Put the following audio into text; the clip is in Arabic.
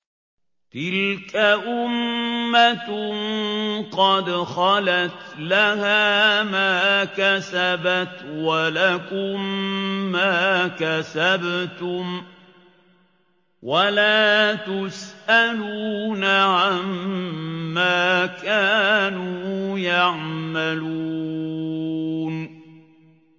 تِلْكَ أُمَّةٌ قَدْ خَلَتْ ۖ لَهَا مَا كَسَبَتْ وَلَكُم مَّا كَسَبْتُمْ ۖ وَلَا تُسْأَلُونَ عَمَّا كَانُوا يَعْمَلُونَ